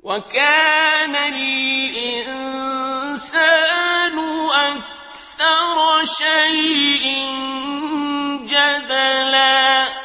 وَكَانَ الْإِنسَانُ أَكْثَرَ شَيْءٍ جَدَلًا